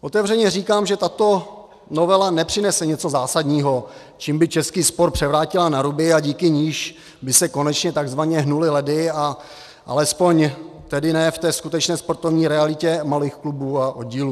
Otevřeně říkám, že tato novela nepřinese něco zásadního, čím by český sport převrátila na ruby, a díky níž by se konečně tzv. hnuly ledy, a alespoň tedy ne v té skutečné sportovní realitě malých klubů a oddílů.